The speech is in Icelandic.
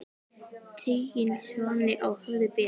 Tigin svanni á höfði ber.